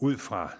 ud fra